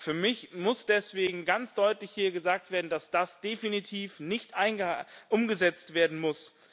Für mich muss deswegen ganz deutlich hier gesagt werden, dass das definitiv umgesetzt werden muss.